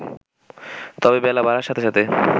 তবে বেলা বাড়ার সাথে সাথে